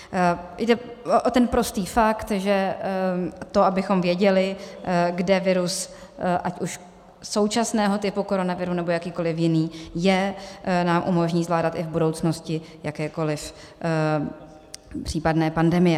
Jde o ten prostý fakt, že to, abychom věděli, kde virus ať už současného typu koronaviru, nebo jakýkoli jiný je, nám umožní zvládat i v budoucnosti jakékoli případné pandemie.